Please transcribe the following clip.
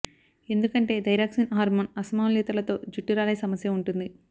ఎందుకంటే thyroxine hormone అసమతౌల్యతతో జుట్టు రాలే సమస్య ఉంటుంది